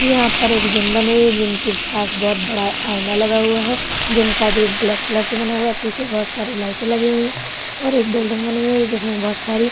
यहाँ पर एक जिम बनी हुई है। जिम के पास बोहोत बड़ा आइना लगा हुआ है। जिम का गेट ब्लैक कलर से बना हुआ है। पीछे बोहोत सारी लाइटे लगी हुई हैं और एक बिल्डिंग बनी हुई है जिसमें बोहोत सारी --